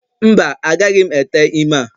Mba, agaghị m ete ime a